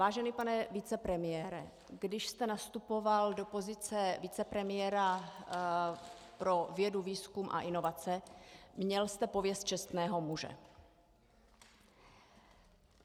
Vážený pane vicepremiére, když jste nastupoval do pozice vicepremiéra pro vědu, výzkum a inovace, měl jste pověst čestného muže.